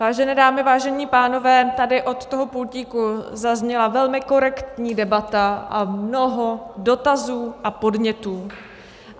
Vážené dámy, vážení pánové, tady od toho pultíku zazněla velmi korektní debata a mnoho dotazů a podnětů.